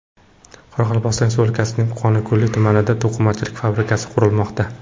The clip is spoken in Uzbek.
Qoraqalpog‘iston Respublikasining Qonliko‘l tumanida to‘qimachilik fabrikasi qurilmoqda.